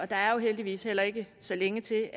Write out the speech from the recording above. der er jo heldigvis heller ikke så længe til